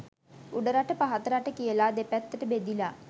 උඩරට පහත රට කියලා – දෙපැත්තට බෙදිලා